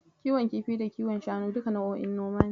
Kiwon kifi da kiwon shanu duka nau'o'in noma ne.